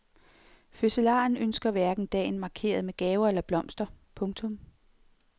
Fødselaren ønsker hverken dagen markeret med gaver eller blomster. punktum